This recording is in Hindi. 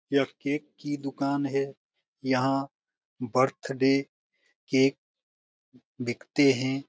यह केक की दुकान है यहाँ बर्थडे केक बिकते हैं।